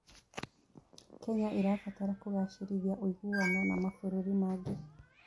Kenya ĩrabatara kũgacĩrithia ũiguano na mabũrũri mangĩ.